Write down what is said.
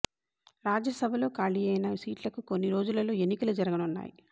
రాజ్యసభలో కాళీ అయిన సీట్ల కు కొన్ని రోజులలో ఎన్నికలు జరగనున్నాయి